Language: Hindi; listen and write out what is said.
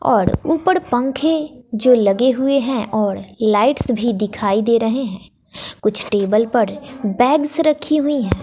और ऊपर पंखे जो लगे हुए हैं और लाइट्स भी दिखाई दे रहे हैं कुछ टेबल पर बैग्स रखी हुई हैं।